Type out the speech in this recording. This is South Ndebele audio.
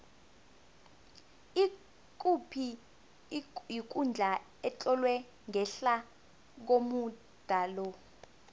ikuphi ikundla etlolwe ngehla komuda lo